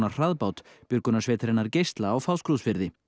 hraðbát björgunarsveitarinnar geisla á Fáskrúðsfirði